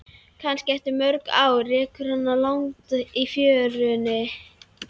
Kannski eftir mörg ár rekur hana að landi í fjörunni.